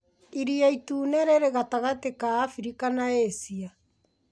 Iria Itune rĩrĩ gatagatĩ ka Afrika na Asia.